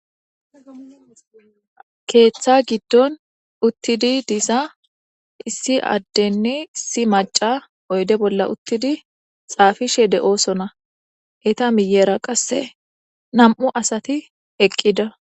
Keetha gidon utidi diza issi adenne issi maca oyde bolla utid xaafishe de'osona, eta miyera qase nam'u asati eqida.